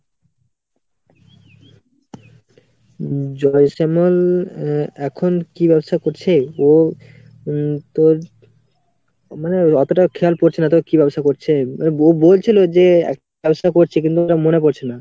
উম জয়শ্যামল আহ এখন কী ব্যবসা করছে? ও উম তোর মানে অতটা খেয়াল পড়ছেনা তবে কী ব্যবসা করছে। ব~ বলছিলো যে একটা ব্যবসা করছে কিন্তুই ওটা মনে পড়ছেনা।